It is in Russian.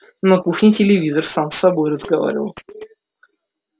на кухне телевизор сам с собой разговаривал